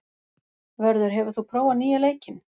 Vörður, hefur þú prófað nýja leikinn?